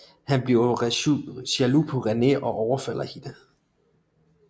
Han bliver jaloux på René og overfalder hende